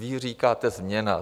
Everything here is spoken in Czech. Vy říkáte změna.